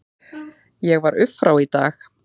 Ég var upp frá í dag.